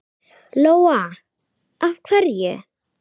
Lóa: Af hverju?